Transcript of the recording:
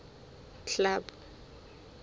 club